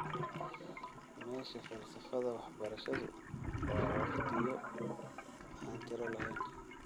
Meesha falsafada waxbarashadu waa wakhtiyo aan tiro lahayn.